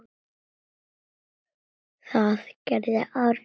Það gerði Árný.